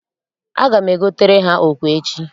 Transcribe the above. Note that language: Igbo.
Aga m ego tere ha okwe echi.